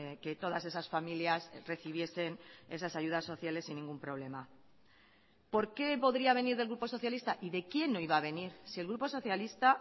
que todas esas familias recibiesen esas ayudas sociales sin ningún problema por qué podría venir del grupo socialista y de quién no iba a venir si el grupo socialista